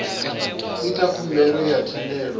ita khumbelo ya thendelo ya